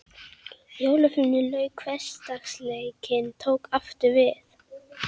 Jólafríinu lauk og hversdagsleikinn tók aftur við.